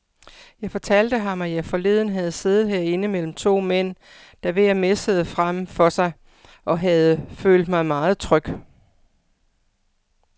Jeg fortalte ham, at jeg forleden havde siddet herinde mellem to mænd, der hver messede frem for sig, og havde følt mig meget tryg.